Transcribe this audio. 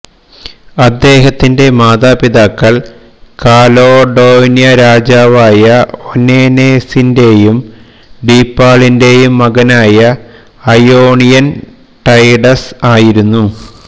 അദ്ദേഹത്തിന്റെ മാതാപിതാക്കൾ കാലോഡോന്യ രാജാവായ ഒനേനേസിൻറെയും ഡീപ്പാളിന്റേയും മകനായ ഐയോണിയൻ ടൈഡസ് ആയിരുന്നു